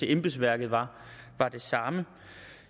embedsværket var det samme